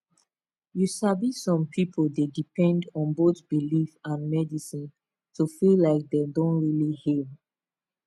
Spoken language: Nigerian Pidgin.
you sabi some pipo dey depend on both belief and medicine to feel like dem don really heal